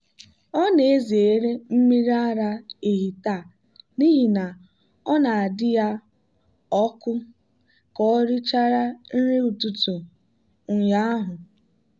ọ na-ezere mmiri ara ehi taa n'ihi na ọ na-adị ya ọkụ ka ọ richara nri ụtụtụ ụnyaahụ.